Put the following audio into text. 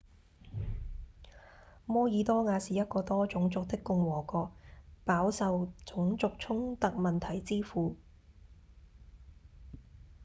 摩爾多瓦是一個多種族的共和國飽受種族衝突問題之苦